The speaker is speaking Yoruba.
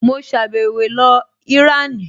Mo sàbẹ̀wo lọ Ìránì